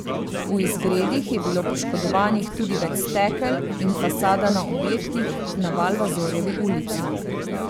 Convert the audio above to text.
V izgredih je bilo poškodovanih tudi več stekel in fasada na objektih na Valvazorjevi ulici.